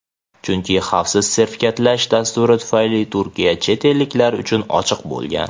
chunki xavfsiz sertifikatlash dasturi tufayli Turkiya chet elliklar uchun ochiq bo‘lgan.